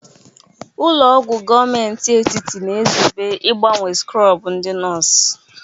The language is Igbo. Ụlọ ọgwụ gọọmenti etiti na-ezube ịgbanwe skrọbụ ndị nọọsụ.